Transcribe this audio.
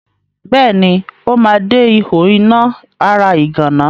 Bẹ́ẹ̀ni, ó ma de ihò iná ara ìgànná.